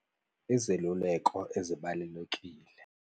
Izeluleko ezibalulekile.